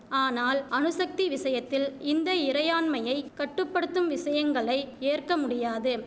ஆனால் அணுசக்தி விஷயத்தில் இந்த இறையாண்மையை கட்டு படுத்தும் விஷயங்களை ஏற்க முடியாது